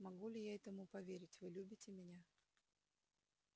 могу ли я этому поверить вы любите меня